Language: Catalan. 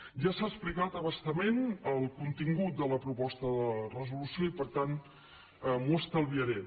ja s’ha explicat a bastament el contingut de la proposta de resolució i per tant m’ho estalviaré